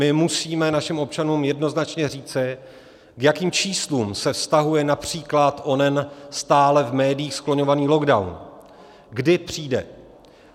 My musíme našim občanům jednoznačně říci, k jakým číslům se vztahuje například onen stále v médiích skloňovaný lockdown, kdy přijde.